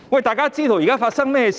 大家皆知道現在發生甚麼事情。